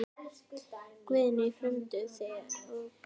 Guðný: Frömduð þið lögbrot?